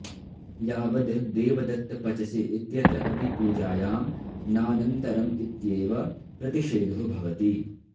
यावद् देवदत्त पचसि इत्यत्र अपि पूजायां नानन्तरम् इत्येव प्रतिषेधो भवति